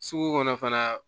Sugu kɔnɔ fana